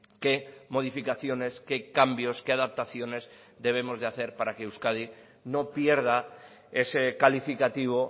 qué modificaciones qué cambios qué adaptaciones debemos de hacer para que euskadi no pierda ese calificativo